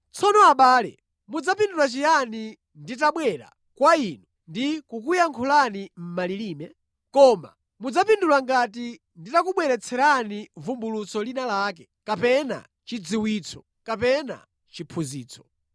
Tsono, abale, mudzapindula chiyani nditabwera kwa inu ndi kukuyankhulani mʼmalilime? Koma mudzapindula ngati nditakubweretserani vumbulutso lina lake, kapena chidziwitso, kapena chiphunzitso.